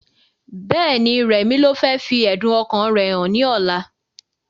Bẹ́ẹ̀ni, rẹmi ló fẹ́ fi ẹ̀dùn ọkàn rẹ hàn ní ọ̀la